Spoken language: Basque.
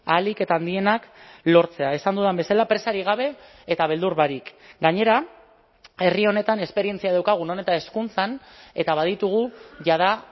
ahalik eta handienak lortzea esan dudan bezala presarik gabe eta beldur barik gainera herri honetan esperientzia daukagu non eta hezkuntzan eta baditugu jada